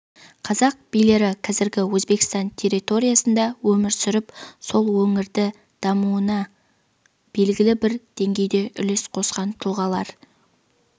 қазақ билері қазіргі өзбекстан территориясында өмір сүріп сол өңірдің дамуына белгілі бір деңгейде үлес қосқан тұлғалар